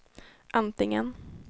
antingen